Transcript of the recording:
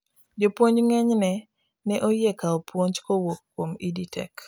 jopuonjo ng'eny ne oyie kawo puonj kowuok kuom EdTech